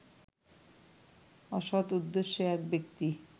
অসৎ উদ্দেশ্যে এক ব্যক্তি